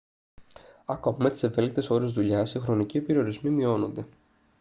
ακόμα με τις ευέλικτες ώρες δουλειάς οι χρονικοί περιορισμοί μειώνονται. μπρέμερ 1998